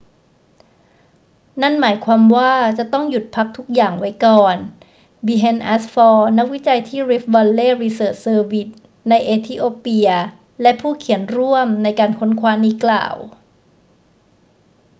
นั่นหมายความว่าจะต้องหยุดพักทุกอย่างไว้ก่อน berhane asfaw นักวิจัยที่ rift vally research service ในเอธิโอเปียและผู้เขียนร่วมในการค้นคว้านี้กล่าว